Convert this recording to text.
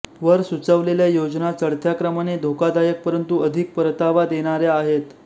वर सुचवलेल्या योजना चढत्या क्रमाने धोकादायक परंतु अधिक परतावा देणाऱ्या आहेत